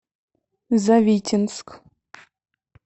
завитинск